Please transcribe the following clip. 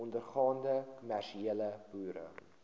ondergaande kommersiële boere